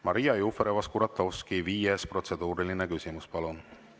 Maria Jufereva‑Skuratovski, viies protseduuriline küsimus, palun!